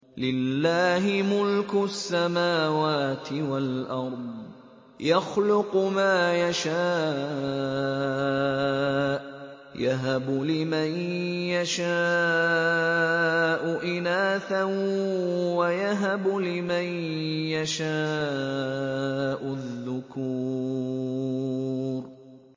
لِّلَّهِ مُلْكُ السَّمَاوَاتِ وَالْأَرْضِ ۚ يَخْلُقُ مَا يَشَاءُ ۚ يَهَبُ لِمَن يَشَاءُ إِنَاثًا وَيَهَبُ لِمَن يَشَاءُ الذُّكُورَ